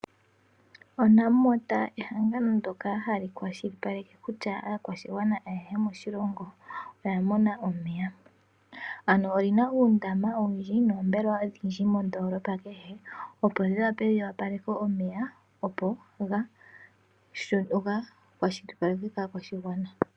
ONamwater ehangano ndyoka hali kwashilipaleke kutya aakwashigwana ayehe moshilongo oya mona omeya. Ano olina uundama owundji noombelewa odhindji mondoolopa kehe, opo dhi wape dhi opaleke omeya opo ga kwashilipalekwe kaa kwashigwana.